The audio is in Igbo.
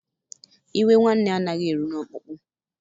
Iwe nwanne anaghị eru n’ọkpụkpụ